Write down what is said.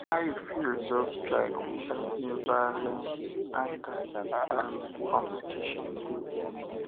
how you fit resolve strike without being violance anger and confrontation